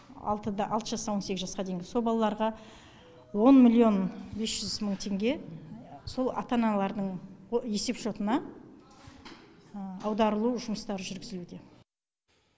алтыда алты жастан он сегіз жасқа дейінгі сол балаларға он миллион бес жүз мың теңге сол ата аналардың есепшотына аударылу жұмыстары жүргізілуде